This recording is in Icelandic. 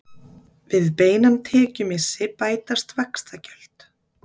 Við beinan tekjumissi bætast vaxtagjöld.